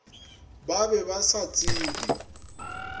ba be ba sa tsebe